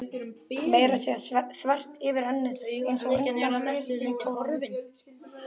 Meira að segja þvert yfir ennið, einsog undan þyrnikórónu.